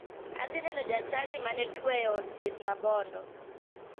Adhi neno jachadi ma ne tuo e od thieth ma bondo.